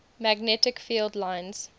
magnetic field lines